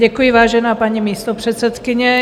Děkuji, vážená paní místopředsedkyně.